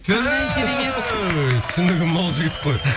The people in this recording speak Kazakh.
түһ түсінігі мол жігіт қой